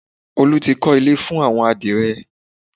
Olú ti kọ́ ilé fún àwọn adìrẹ